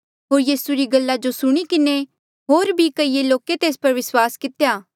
होर यीसू री गल्ला जो सुणी किन्हें होर भी कईए लोके तेस पर विस्वास कितेया